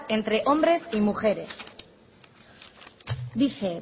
entre hombres y mujeres dice